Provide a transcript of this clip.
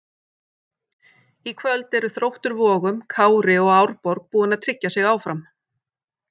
Í kvöld eru Þróttur Vogum, Kári og Árborg búin að tryggja sig áfram.